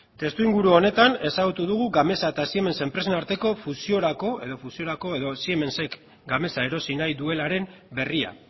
testuinguru honetan ezagutu dugu gamesa eta siemens enpresen arteko fusiorako edo siemensek gamesa erosi nahi duelaren berria